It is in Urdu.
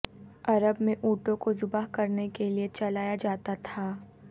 عرب میں اونٹوں کو زبح کرنے کے لئے چلایا جاتا تھا